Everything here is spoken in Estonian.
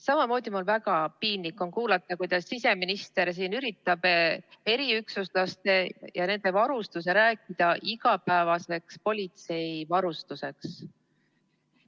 Samamoodi on mul väga piinlik kuulata, kuidas siseminister üritab eriüksuslaste ja nende varustuse rääkida igapäevaseks politsei varustuseks.